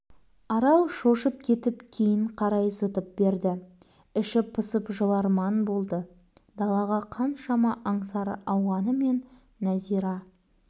арал шошып кетіп кейін қарай зытып берді іші пысып жыларман болды далаға қаншама аңсары ауғанымен нәзира